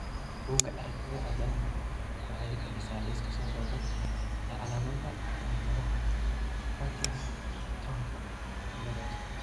Bugga Aragtiyaha Aanadanaha waxay bixisaa liiska soo socda ee calaamadaha iyo calaamadaha Partingtonka ciladaha.